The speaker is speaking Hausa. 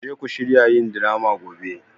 Ku je ku shirya yin drama gobe!